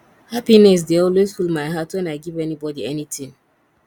happiness dey always full my heart wen i give anybody anything